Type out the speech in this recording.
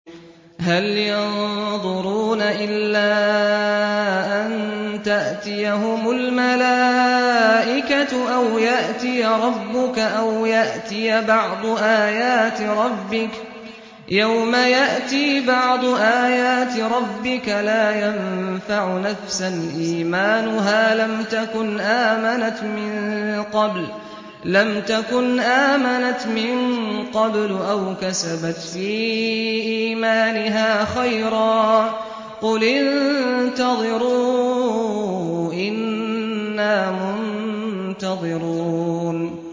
هَلْ يَنظُرُونَ إِلَّا أَن تَأْتِيَهُمُ الْمَلَائِكَةُ أَوْ يَأْتِيَ رَبُّكَ أَوْ يَأْتِيَ بَعْضُ آيَاتِ رَبِّكَ ۗ يَوْمَ يَأْتِي بَعْضُ آيَاتِ رَبِّكَ لَا يَنفَعُ نَفْسًا إِيمَانُهَا لَمْ تَكُنْ آمَنَتْ مِن قَبْلُ أَوْ كَسَبَتْ فِي إِيمَانِهَا خَيْرًا ۗ قُلِ انتَظِرُوا إِنَّا مُنتَظِرُونَ